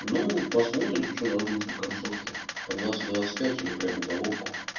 ну посмотрим что дадут во концовке по двадцать двадцать пять или прямо уголовку